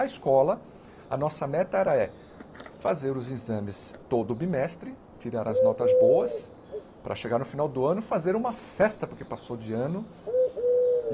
A escola, a nossa meta era é fazer os exames todo bimestre, tirar as notas boas, para chegar no final do ano fazer uma festa, porque passou de ano.